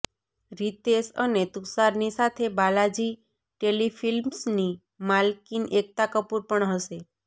રિતેશ અને તુષારની સાથે બાલાજી ટેલિફિલ્મ્સની માલકિન એકતા કપૂર પણ હશે